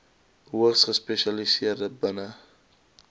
hoogeplaasde sprekers binne